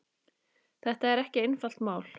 Þetta er ekki einfalt mál.